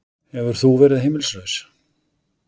Hefur þú verið heimilislaus?